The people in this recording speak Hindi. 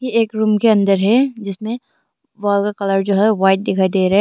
एक रूम के अंदर है जिसमें वॉल का कलर जो है व्हाइट दिखाई दे रहा है।